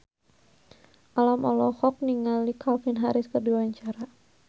Alam olohok ningali Calvin Harris keur diwawancara